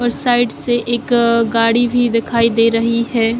और साइड् से एक अअ गाड़ी भी दिखाई दे रही है।